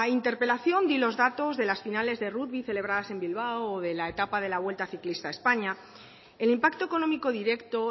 interpelación di los datos de las finales de rugby celebradas en bilbao o de la etapa de la vuelta ciclista a españa el impacto económico directo